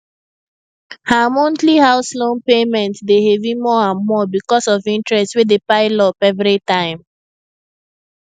her monthly house loan payment dey heavy more and more because of interest wey dey pile up every time